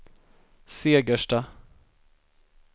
Segersta